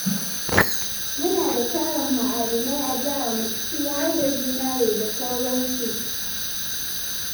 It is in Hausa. Muna da tarin ma'adinai a jiharmu, ciki har da zinari da sauransu.